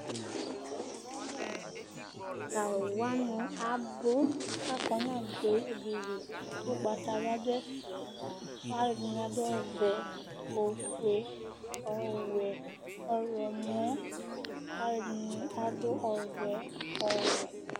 Tʋ alʋ wanɩ abʋ Akɔ nʋ "adewi'' dɩ li Ugbatawla dʋ ɛfɛ Alʋ ɛdɩnɩ adʋ ɔvɛ, ofue, ɔwɛ, ɔɣlɔmɔ Ɛdɩnɩ adʋ ɔvɛ, ɔwɛ